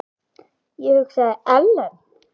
Ég hugsaði: Ellen?